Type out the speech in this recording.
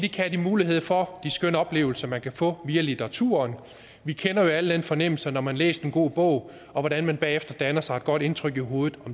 have mulighed for de skønne oplevelser man kan få via litteraturen vi kender jo alle den fornemmelse når man har læst en god bog og hvordan man bagefter danner sig et godt indtryk i hovedet